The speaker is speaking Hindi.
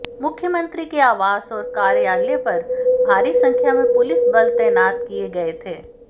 मुख्यमंत्री के आवास और कार्यालय पर भारी संख्या में पुलिस बल तैनात किए गए थे